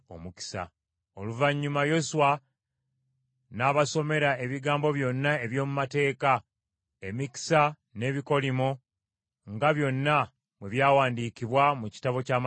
Oluvannyuma Yoswa n’abasomera ebigambo byonna eby’omu mateeka, emikisa n’ebikolimo nga byonna bwe byawandiikibwa mu Kitabo ky’Amateeka.